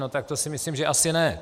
No tak to si myslím, že asi ne.